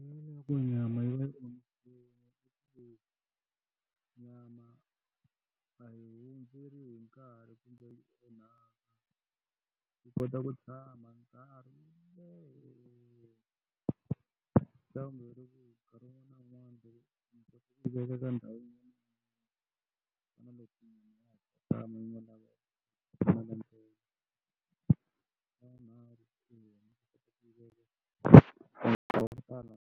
Nyama yi va yi omisiwile nyama a hundzile hi nkarhi kumbe yi onhaka, yi kota ku tshama nkarhi wo leha veka ka ndhawu .